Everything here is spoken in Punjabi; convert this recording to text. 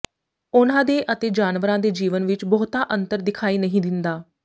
ਉਨ੍ਹਾਂ ਦੇ ਅਤੇ ਜਾਨਵਰਾਂ ਦੇ ਜੀਵਨ ਵਿਚ ਬਹੁਤਾ ਅੰਤਰ ਦਿਖਾਈ ਨਹੀਂ ਦਿੰਦਾ